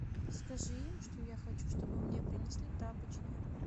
скажи им что я хочу чтобы мне принесли тапочки